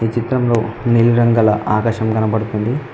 ఈ చిత్రంలో నీలి రంగల ఆకాశం కనబడుతుంది.